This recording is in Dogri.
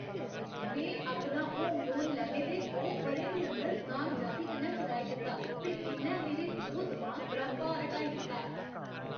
में अपना होम लोन लैने दे दो ब'रें दे अंदर कामयाबी कन्नै चुकाई दित्ता ते इ'न्नै मेरे दिलो दमाग परा भार हटाई दित्ता ऐ।